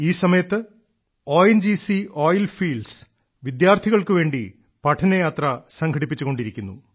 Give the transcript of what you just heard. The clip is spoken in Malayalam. ഈ സമയത്ത് ഒ എൻ ജി സി എണ്ണപ്പാടങ്ങളിൽ വിദ്യാർത്ഥികൾക്കു വേണ്ടി പഠനയാത്ര സംഘടിപ്പിച്ചു കൊണ്ടിരിക്കുന്നു